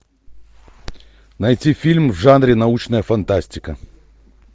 найти фильм в жанре научная фантастика